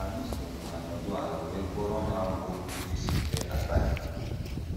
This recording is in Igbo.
Anyị sooro ha nọdụ ala wee gụọrọ ha amaokwu ndị sitere na Bible.